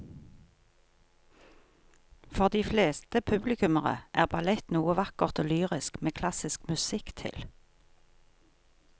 For de fleste publikummere er ballett noe vakkert og lyrisk med klassisk musikk til.